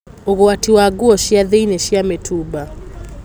Ũgwati wa nguo cia thĩinĩ cia mĩtumba.